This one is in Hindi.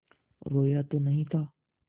रोया तो नहीं था